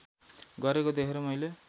गरेको देखेर मैले